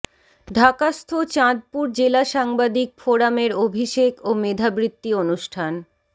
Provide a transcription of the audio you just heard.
ঢাকাস্থ চাঁদপুর জেলা সাংবাদিক ফোরামের অভিষেক ও মেধাবৃত্তি অনুষ্ঠান